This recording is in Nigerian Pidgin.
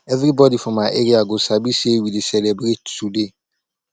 everybody for my area go sabi say we dey celebrate today